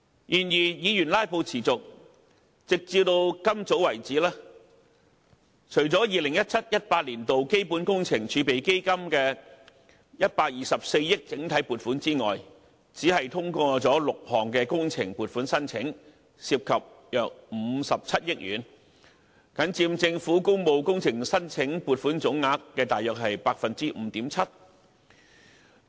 然而，議員"拉布"持續，直至今早為止，除了 2017-2018 年度基本工程儲備基金的124億元整體撥款之外，只通過了6項工程撥款申請，涉及約57億元，僅佔政府工務工程申請撥款總額約 5.7%。